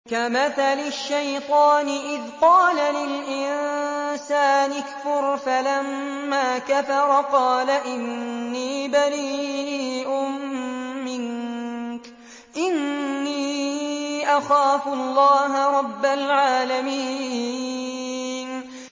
كَمَثَلِ الشَّيْطَانِ إِذْ قَالَ لِلْإِنسَانِ اكْفُرْ فَلَمَّا كَفَرَ قَالَ إِنِّي بَرِيءٌ مِّنكَ إِنِّي أَخَافُ اللَّهَ رَبَّ الْعَالَمِينَ